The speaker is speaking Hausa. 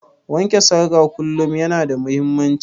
Wanke salga kullum yana da muhimmanci